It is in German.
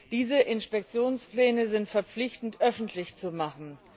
Diese Inspektionspläne sind verpflichtend öffentlich zu machen.